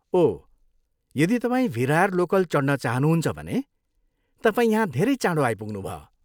ओह, यदि तपाईँ भिरार लोकल चढ्न चाहनुहुन्छ भने तपाईँ यहाँ धेरै चाँडो आइपुग्नुभयो।